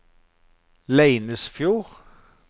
Leinesfjord